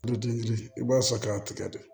Yiridi yiri i b'a sɔrɔ k'a tigɛ de